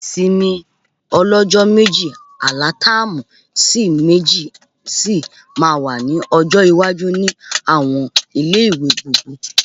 Ìsinmi ọlọ́jọ́ méjì alatáàmù sí méjì sì máa wà ní ọjọ́ iwájú ni àwọn ilé-ìwé gbogbo